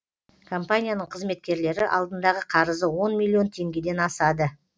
компанияның қызметкерлері алдындағы қарызы он миллион теңгеден асады